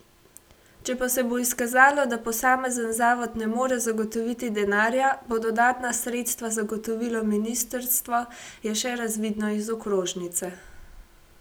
Če pa se bo izkazalo, da posamezen zavod ne more zagotoviti denarja, bo dodatna sredstva zagotovilo ministrstvo, je še razvidno iz okrožnice.